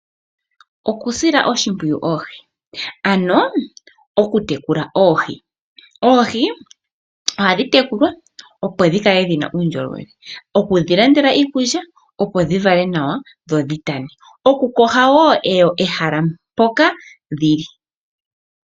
Okusila oohi oshimpwiyu, ano okutekula oohi. Oohi ohadhi tekulwa, opo dhi kale dhi na uundjolowele. Okudhi landela iikulya, opo dhi vale nawa dho dhi tane. Oku opaleka wo pehala mpoka dhi li.